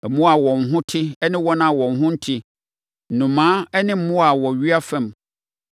Mmoa a wɔn ho te ne wɔn a wɔn ho nte, nnomaa ne mmoa a wɔwea fam,